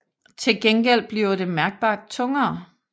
Til gengæld bliver det mærkbart tungere